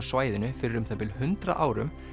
svæðinu fyrir um það bil hundrað árum